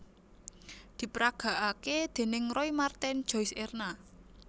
Diperagakake déning Roy Marten Joice Erna